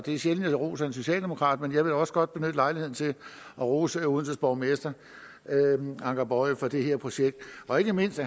er sjældent jeg roser en socialdemokrat men jeg vil også godt benytte lejligheden til at rose odenses borgmester anker boye for det her projekt og ikke mindst